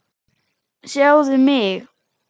Sjáðu mig.